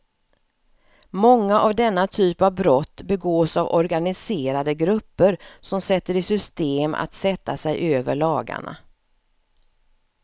Många av denna typ av brott begås av organiserade grupper som sätter i system att sätta sig över lagarna.